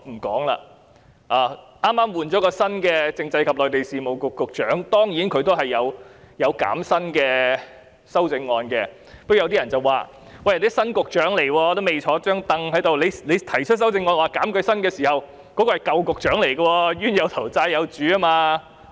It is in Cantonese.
剛剛換了新的政制及內地事務局局長，有修正案涉及削減他的薪酬，但有人認為，議員提出修正案時，新局長尚未上任，減薪的對象是舊局長，"冤有頭，債有主"。